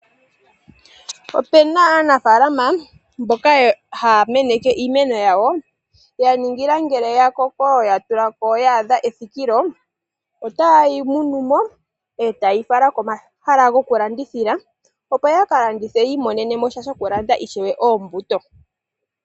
Opu na aanafaalama mboka haya meneke iimeno yawo ya ningila ngele ya koko, ya tula ko ya adha ethikilo, otaye yi likola, etaye yi fala komahala gomalandithilo, opo ya ka landithe yi imonene shokulanda ishewe oombuto.